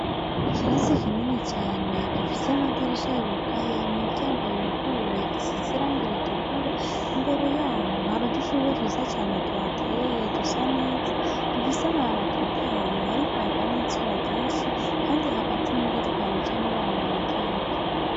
Ikirasi kinini cane gifise amadirisha yugaye imiryango yuguruye, gisize irangi ritukura, imbere yaho hari udushurwe twiza cane tuhateye dusa neza, dufise amababi atotahaye hariko haraka n'izuba ryinshi, kandi hagati muritwo haracamwo ibarabara ry'ivu.